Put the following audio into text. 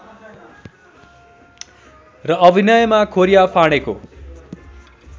र अभिनयमा खोरिया फाँडेको